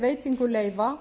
veitingu leyfa